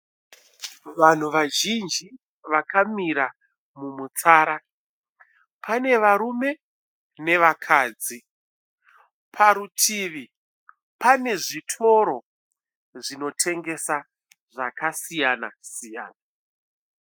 Vanhu vazhinji vakamira mumutsara, pane varume nevakadzi, parutivi pane zvitoro zvinotengesa zvakasiyana siyana.